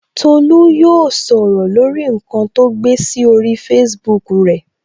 Tolu yóò sọ̀rọ̀ lórí nkan to gbé sí orí Facebook rẹ